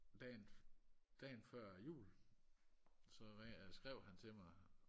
dagen dagen før jul så ringede eller skrev han til mig